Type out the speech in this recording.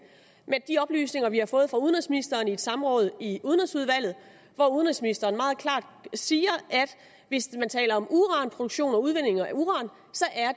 med de oplysninger vi har fået fra udenrigsministeren i et samråd i udenrigsudvalget hvor udenrigsministeren meget klart siger at hvis man taler om uranproduktion og udvinding af uran så